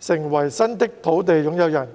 成為新的土地擁有人。